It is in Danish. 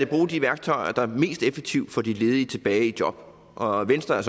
bruge de værktøjer der mest effektivt får de ledige tilbage i job og venstre er